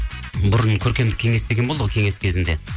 бұрын көркемдік кеңес деген болды ғой кеңес кезінде